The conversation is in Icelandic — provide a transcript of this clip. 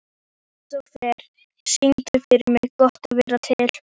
Kristofer, syngdu fyrir mig „Gott að vera til“.